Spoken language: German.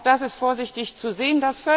Auch das ist vorsichtig zu sehen.